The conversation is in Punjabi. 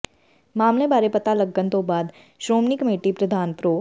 ਮਾਮਲੇ ਬਾਰੇ ਪਤਾ ਲੱਗਣ ਤੋਂ ਬਾਅਦ ਸ਼੍ਰੋਮਣੀ ਕਮੇਟੀ ਪ੍ਰਧਾਨ ਪ੍ਰੋ